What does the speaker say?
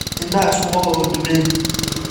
Indhaha isku qabo oo ducee